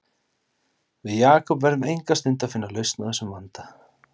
Við Jakob verðum enga stund að finna lausn á þessum vanda